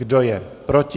Kdo je proti?